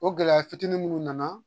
O gɛlɛya fitinin munnu nana